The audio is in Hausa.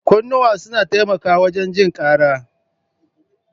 Kunnuwa suna taimakawa wajen jin kara.